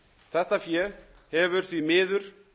þetta fé hefur því miður